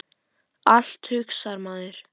Allt, hugsar maður.